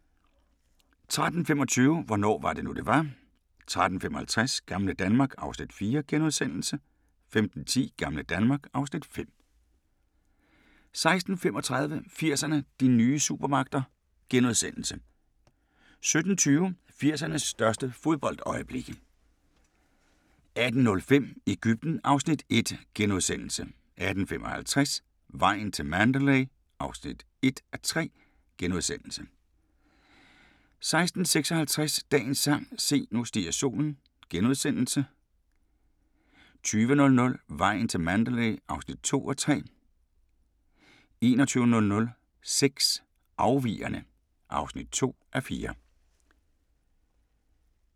13:25: Hvornår var det nu, det var? 13:55: Gamle Danmark (Afs. 4)* 15:10: Gamle Danmark (Afs. 5) 16:35: 80'erne: De nye supermagter * 17:20: 80'ernes største fodboldøjeblikke 18:05: Egypten (Afs. 1)* 18:55: Vejen til Mandalay (1:3)* 19:56: Dagens sang: Se, nu stiger solen * 20:00: Vejen til Mandalay (2:3) 21:00: Sex: Afvigerne (2:4)